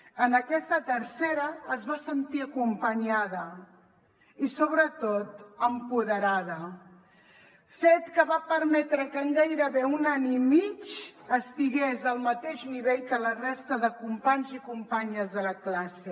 en aquest tercer es va sentir acompanyada i sobretot empoderada fet que va permetre que en gairebé un any i mig estigués al mateix nivell que la resta de companys i companyes de la classe